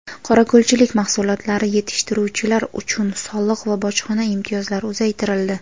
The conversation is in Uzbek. Qorako‘lchilik mahsulotlari yetishtiruvchilar uchun soliq va bojxona imtiyozlari uzaytirildi.